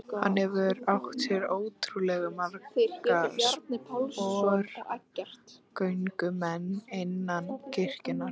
Hann hefur átt sér ótrúlega marga sporgöngumenn innan kirkjunnar.